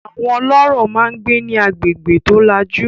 Àwọn ọlọ́rọ̀ máa ń gbé ní agbègbè tó lajú.